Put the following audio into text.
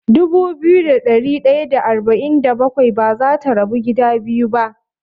Dubu biyu da ɗari ɗaya da arba'in da bakwai bazata rabu gida biyu ba.